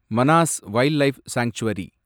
Manas wildlife sanctuary